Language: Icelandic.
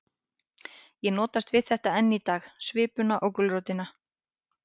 Ég notast við þetta enn í dag, svipuna og gulrótina.